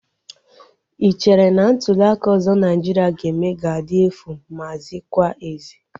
Ị chere na ntuliaka ọzọ Naijiria ga-eme ga-adị efu ma zikwa ezi?